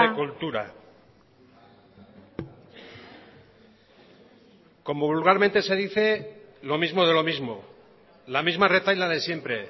cultura como vulgarmente se dice lo mismo de lo mismo la misma retahíla de siempre